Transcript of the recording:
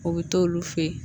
O bɛ t'olu fɛ yen